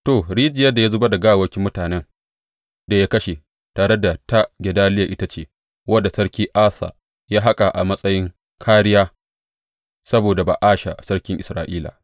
To, rijiyar da ya zubar da gawawwakin mutanen da ya kashe tare da ta Gedaliya ita ce wadda Sarki Asa ya haƙa a matsayin kāriya saboda Ba’asha sarkin Isra’ila.